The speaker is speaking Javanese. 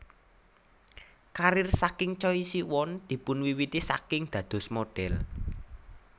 Karir saking Choi Siwon dipunwiwiti saking dados modhel